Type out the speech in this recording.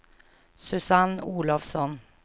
Susanne Olofsson